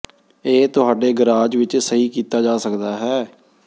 ਇਹ ਤੁਹਾਡੇ ਗਰਾਜ ਵਿਚ ਸਹੀ ਕੀਤਾ ਜਾ ਸਕਦਾ ਹੈ